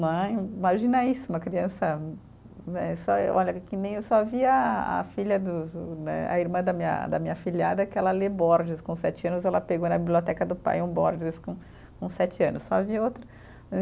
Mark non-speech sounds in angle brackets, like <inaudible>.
<unintelligible> Imagina isso, uma criança né, só e olha, que nem eu só via a a filha dos o né, a irmã da minha, da minha filhada, que ela lê Borges com sete anos, ela pegou na biblioteca do pai um Borges com com sete anos, só havia outro.